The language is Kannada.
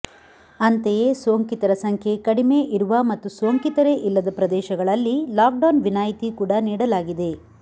ಅಂತೆಯೇ ಸೋಂಕಿತರ ಸಂಖ್ಯೆ ಕಡಿಮೆ ಇರುವ ಮತ್ತು ಸೋಂಕಿತರೇ ಇಲ್ಲದ ಪ್ರದೇಶಗಳಲ್ಲಿ ಲಾಕ್ ಡೌನ್ ವಿನಾಯಿತಿ ಕೂಡ ನೀಡಲಾಗಿದೆ